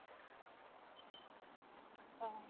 achcha